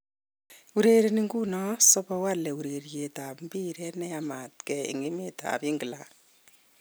Urereni nguno Sobowale ureriet ab mpiret ne yamatke en emet ab England.